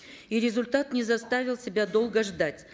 и результат не заставил себя долго ждать